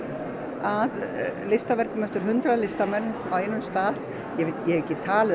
að listaverkum eftir hundrað listamenn á einum stað ég hef ekki talið